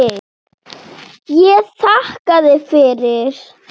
Ég þakkaði fyrir.